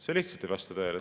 See lihtsalt ei vasta tõele!